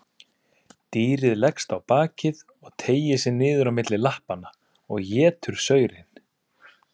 Dýrið leggst á bakið og teygir sig niður á milli lappanna og étur saurinn.